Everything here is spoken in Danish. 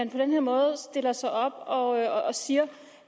den her måde stiller sig op og siger